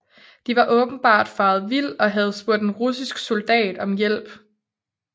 De var åbenbart faret vild og havde spurgt en russisk soldat om vej